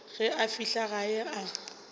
ge a fihla gae a